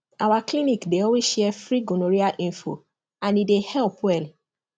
our clinic dey always share free gonorrhea info and e dey help well